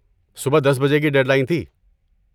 صبح دس بجے کی ڈیڈ لائن تھی